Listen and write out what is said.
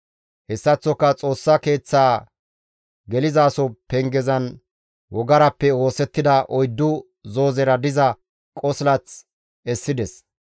Hessaththoka Xoossa Keeththaa gelizaso pengezan wogarappe oosettida oyddu zoozera diza qosilath essides.